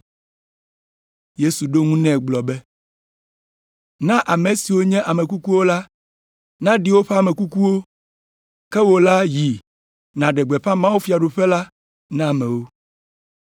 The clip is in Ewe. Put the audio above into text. Yesu ɖo eŋu gblɔ nɛ be, “Na ame siwo nye ame kukuwo la naɖi woƒe ame kukuwo, ke wò ya yi naɖe gbeƒã mawufiaɖuƒe la na amewo.”